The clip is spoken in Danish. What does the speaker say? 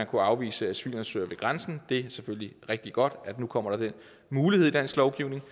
kunne afvise asylansøgere ved grænsen det er selvfølgelig rigtig godt at der nu kommer den mulighed i dansk lovgivning